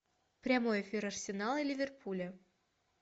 прямой эфир арсенала и ливерпуля